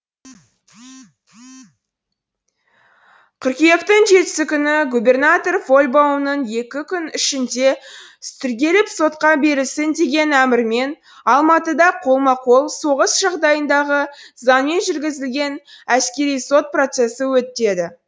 қыркүйектің жетісі күні губернатор фольбаумның екі күн ішінде тергеліп сотқа берілсін деген әмірімен алматыда қолма қол соғыс жағдайындағы заңмен жүргізілген әскери сот процесі өтеді